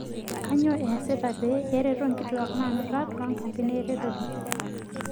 Kainyoo eesitai pee ereto nkituak naanuta toonkampin eretoto?